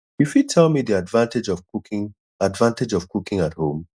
you fit tell me di advantage of cooking advantage of cooking at home